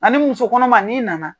A ni muso kɔnɔma ni nana.